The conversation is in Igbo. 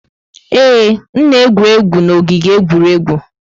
Ee, m na-egwu egwuregwu n'ogige egwuregwu.